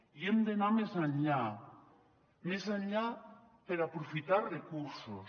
i hem d’anar més enllà més enllà per aprofitar recursos